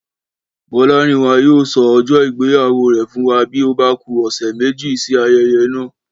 Bọ́lárìnwá yóò sọ ọjọ́ ìgbéyàwó rẹ̀ fún wa bí ó bá ku ọ̀sẹ̀ méjì sí ayẹyẹ náà